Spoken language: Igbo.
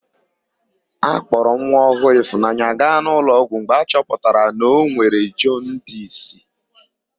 A kpọrọ nwa ọhụụ Ịfụnanya gaa n'ụlọọgwụ mgbe a chọpụtara na o nwere jọndisi.